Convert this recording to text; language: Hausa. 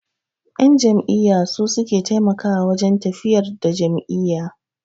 Ƴan jam'iyya su suke taimakawa wajen tafiyar da jam'iyya.